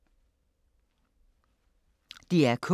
DR K